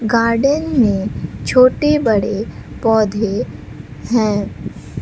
Garden में छोटे बड़े पौधे हैं।